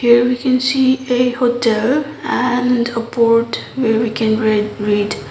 here we can see a hotel and a board where we can red read.